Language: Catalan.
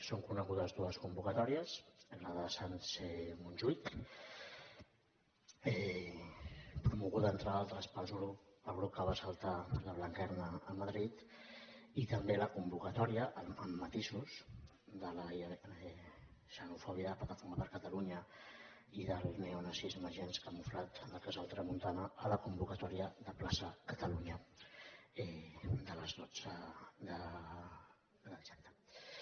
són conegudes dues convocatòries la de sants montjuïc promoguda entre d’altres pel grup que va assaltar la blanquerna a madrid i també la convocatòria amb matisos de la xenòfoba plataforma per catalunya i del neonazisme gens camuflat del casal tramuntana a la convocatòria de plaça catalunya de les dotze de dissabte